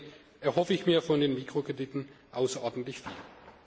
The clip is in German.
Deswegen erhoffe ich mir von den Mikrokrediten außerordentlich viel.